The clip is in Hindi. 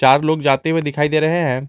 हर लोग जाते हुए दिखाई दे रहे हैं।